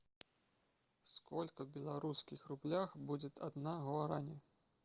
сколько в белорусских рублях будет одна гуарани